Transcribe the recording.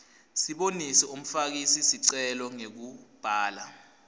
sibonise umfakisicelo ngekubhala